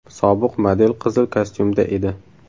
Sobiq model qizil kostyumda edi.